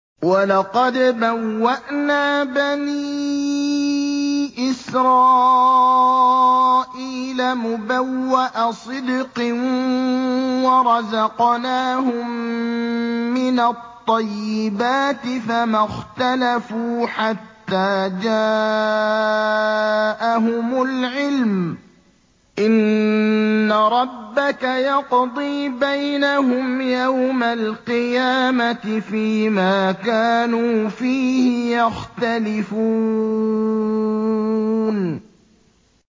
وَلَقَدْ بَوَّأْنَا بَنِي إِسْرَائِيلَ مُبَوَّأَ صِدْقٍ وَرَزَقْنَاهُم مِّنَ الطَّيِّبَاتِ فَمَا اخْتَلَفُوا حَتَّىٰ جَاءَهُمُ الْعِلْمُ ۚ إِنَّ رَبَّكَ يَقْضِي بَيْنَهُمْ يَوْمَ الْقِيَامَةِ فِيمَا كَانُوا فِيهِ يَخْتَلِفُونَ